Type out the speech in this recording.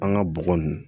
An ga bɔgɔ nunnu